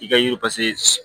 I ka yiri